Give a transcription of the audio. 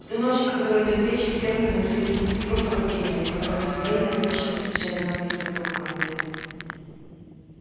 в ту ночь о которой идёт речь с фермы доносились звуки громкого пения в котором к удивлению слушателей звучали нотки скотов англии